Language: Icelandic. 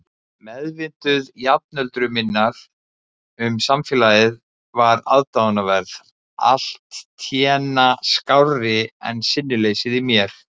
Meðvitund jafnöldru minnar um samfélagið var aðdáunarverð, alltént skárri en sinnuleysið í mér.